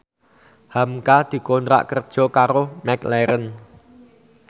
hamka dikontrak kerja karo McLarren